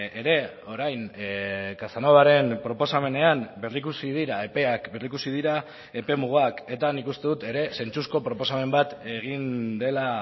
ere orain casanovaren proposamenean berrikusi dira epeak berrikusi dira epemugak eta nik uste dut ere zentzuzko proposamen bat egin dela